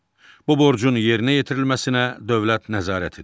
Bu borcun yerinə yetirilməsinə dövlət nəzarət edir.